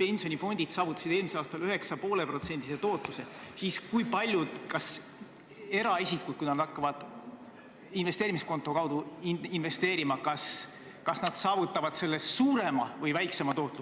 pensionifondid saavutasid eelmisel aastal 9,5% tootluse, siis kas eraisikud, kui nad hakkavad investeerimiskonto kaudu investeerima, saavutavad sellest suurema või väiksema tootluse.